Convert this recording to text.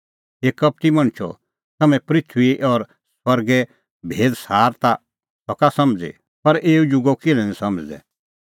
हे कपटी मणछो तम्हैं पृथूई और सरगे भेद सार ता सका समझ़ी पर एऊ जुगो किल्है निं समझ़दै